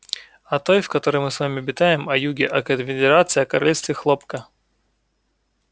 о той в которой мы с вами обитаем о юге о конфедерации о королевстве хлопка